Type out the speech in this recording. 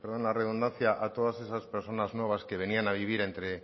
perdón la redundancia a todas esas personas nuevas que venían a vivir